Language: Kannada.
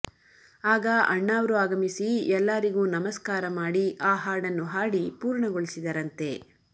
ಆಗ ಅಣ್ಣಾವ್ರು ಆಗಮಿಸಿ ಎಲ್ಲಾರಿಗೂ ನಮಸ್ಕಾರ ಮಾಡಿ ಆ ಹಾಡನ್ನು ಹಾಡಿ ಪೂರ್ಣಗೊಳಿಸಿದರಂತೆ